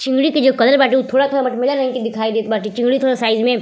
चिंगड़ी के जो कलर बाटे उ थोड़ा थोड़ा मटमैंला रंग के दिखाई देत बाटे। चिंगड़ी थोड़ा साइज में --